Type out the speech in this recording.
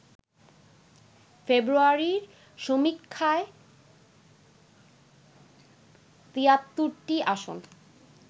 ফেব্রুয়ারির সমীক্ষায় ৭৩টি আসন